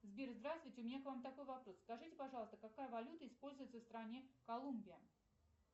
сбер здравствуйте у меня к вам такой вопрос скажите пожалуйста какая валюта используется в стране колумбия